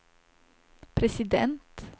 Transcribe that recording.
president